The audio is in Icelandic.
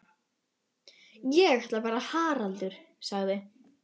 Ég ætla að vera Haraldur sagði